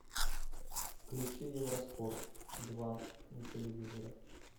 включи евроспорт два на телевизоре